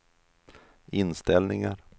inställningar